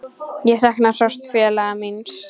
Ég sakna sárt félaga míns.